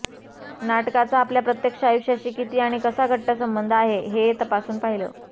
नाटकाचा आपल्या प्रत्यक्ष आयुष्याशी किती आणि कसा घट्ट संबंध आहे हे तपासून पाहिलं